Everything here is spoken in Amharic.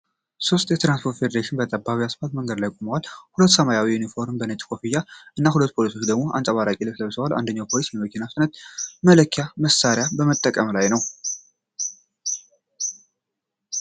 ሦስት የትራፊክ ፖሊሶች በጠባብ የአስፓልት መንገድ ላይ ቆመዋል። ሁሉም ሰማያዊ ዩኒፎርም፣ ነጭ ኮፍያ እና ሁለት ፖሊሶች ደግሞ አንጸባራቂ ልብስ ለብሰዋል። አንደኛው ፖሊስ የመኪና ፍጥነት መለኪያ መሳሪያ በመጠቀም ላይ ነው።